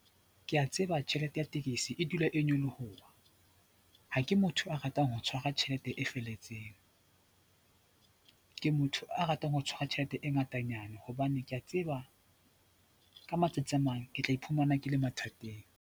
Ke a tseba tjhelete ya tekesi e dula e nyoloha. Ha ke motho a ratang ho tshwara tjhelete e felletseng, ke motho a ratang ho tshwara tjhelete e ngatanyana hobane ke a tseba ka matsatsi a mang ke tla iphumana ke le mathateng.